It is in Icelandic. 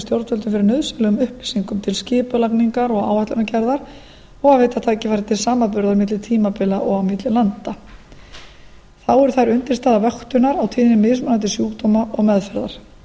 stjórnvöldum fyrir nauðsynlegum upplýsingum til skipulagningar og áætlanagerðar og að veita tækifæri til samanburðar milli tímabila og á milli landa þá eru þær undirstaða vöktunar á tíðni mismunandi sjúkdóma og meðferðar